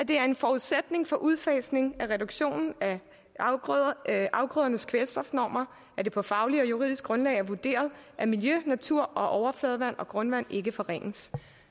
det er en forudsætning for udfasningen af reduktionen af afgrødernes kvælstofnormer at det på fagligt og juridisk grundlag er vurderet at miljø natur og overfladevand og grundvand ikke forringes